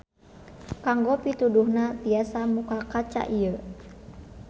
Kanggo pituduhna tiasa muka kaca ieu.